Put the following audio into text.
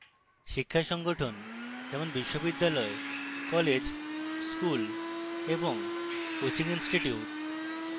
শিক্ষা প্রতিষ্ঠান যেমন বিশ্ববিদ্যালয় colleges schools এবং coaching institutes